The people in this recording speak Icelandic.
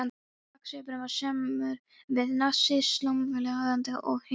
Baksvipurinn var samur við sig, slánalega aðlaðandi, og hlykkjótt göngulagið.